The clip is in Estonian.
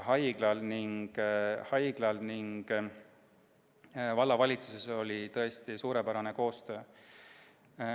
Haiglal ja vallavalitsusel oli tõesti suurepärane koostöö.